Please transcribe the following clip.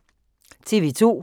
TV 2